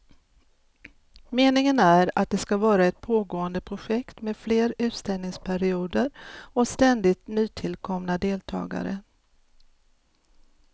Meningen är att det ska vara ett pågående projekt med fler utställningsperioder och ständigt nytillkomna deltagare.